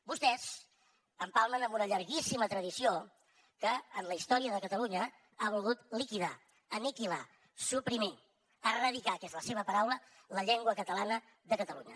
vostès empalmen amb una llarguíssima tradició que en la història de catalunya ha volgut liquidar aniquilar suprimir erradicar que és la seva paraula la llengua catalana de catalunya